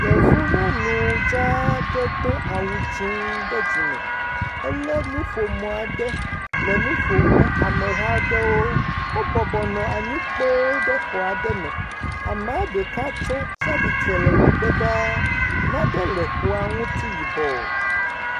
Yevu nyɔnu dzaa aɖe do awu dzɛ̃ ɖe dzime. Elé nuƒome aɖe le nu ƒom ne ameha aɖewo. Wobɔbɔ nɔ anyi kpoo ɖe xɔ aɖe me. Ame ɖeka tso tsi atsitre ɖe megbe ɖaa. Nane le xɔa ŋuti yibɔ.